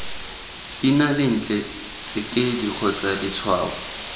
ina lentle tsekedi kgotsa letshwao